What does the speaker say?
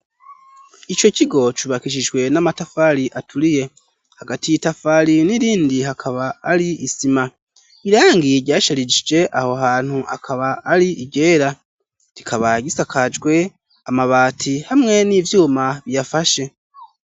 Ico kigo cubakishijwe n'amatafari aturiye, hagati y'itafari n'irindi hakaba ari isima, irangi ryasharishije aho hantu akaba ari iryera, kikaba gisakajwe amabati hamwe n'ivyuma biyafashe.